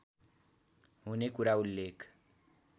हुने कुरा उल्लेख